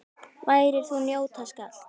Værðar þú njóta skalt.